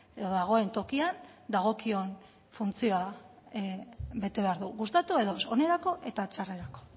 edo dagoen tokian dagokion funtzioa bete behar du gustatu edo ez onerako eta txarrerako